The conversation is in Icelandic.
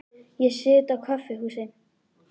Ég sit á kaffihúsi.